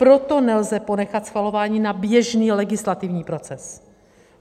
Pro nelze ponechat schvalování na běžný legislativní proces.